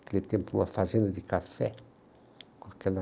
Naquele tempo, uma fazenda de café com aquela...